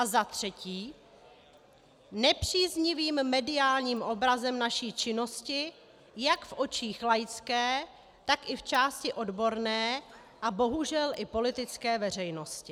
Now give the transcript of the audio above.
A za třetí nepříznivým mediálním obrazem naší činnosti jak v očích laické, tak i v části odborné a bohužel i politické veřejnosti.